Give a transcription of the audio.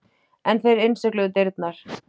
En þeir innsigluðu dyrnar.